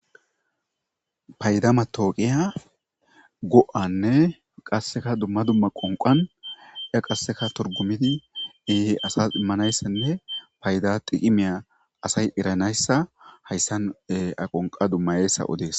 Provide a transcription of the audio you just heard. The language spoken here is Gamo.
paydamatooqiya go7anne qasseka dumma dumma qonqan ya qasseka torgumidi ehi asas immanayssenne payda diqi miya asay eranayssa hayssan aqonqa dummayayssa odees